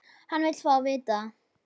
Hann vill fá að vita það.